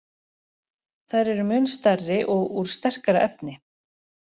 Þær eru mun stærri og úr sterkara efni.